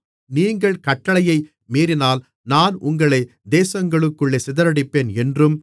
நீங்கள் கட்டளையை மீறினால் நான் உங்களை தேசங்களுக்குள்ளே சிதறடிப்பேன் என்றும்